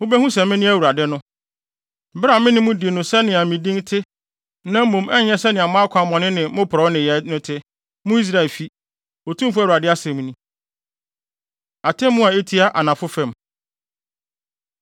Mubehu sɛ mene AWURADE no, bere a me ne mo di no sɛnea me din te na mmom ɛnyɛ sɛnea mo akwammɔne ne mo porɔwee nneyɛe no te, mo Israelfo, Otumfo Awurade asɛm ni.’ ” Atemmu A Etia Anafo Fam